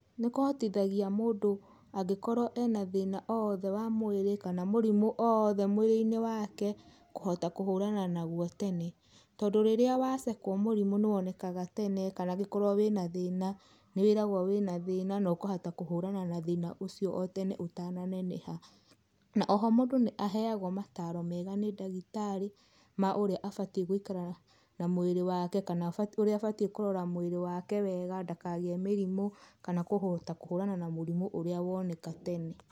Nĩ kũhotithagia mũndũ angĩkorwo ena thĩna owothe wa mwĩrĩ kana mũrĩmũ owothe mwĩrĩinĩ wake kũhota kũhũrana naguo tene. Tondũ rĩrĩa wacekwa mũrĩmũ nĩwonekaga tena kana gũkorwo wĩna thĩna nĩwĩragwo wĩna thĩna na ũkahota kũhũrana na tthĩna ũcio otene ũtaneneha. Na oho mũndũ nĩaheagwo mataro mega nĩ ndagĩtarĩ ma ũrĩa abatie gũikara na mwĩrĩ wake na ũrĩa abatie kũrora mwĩrĩ wake wega ndakagĩe mĩrimũ kana kũhota kũhũrana na mũrimũ woneka tene.